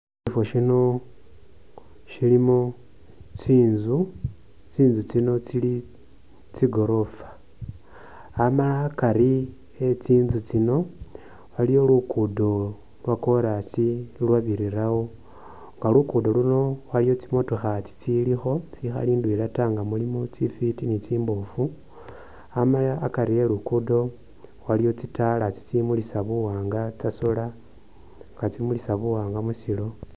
Sifo Shino shilimo tsinzu, tsinzu tsino tsili tsi'goorofa amala akari e'tsinzu tsino aliwo luguddo lwa'chorus ulwabirirawo nga luguddo luuno waliwo tsi'motokha tsilikho tsikhali tsindwela taa tsifiti ni tsimbofu amala akari e'luguddo aliwo tsitaala tsitsimulisa buwanga tsa'solar nga tsimulisa buwanga musilo